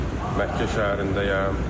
Məkkə şəhərindəyəm.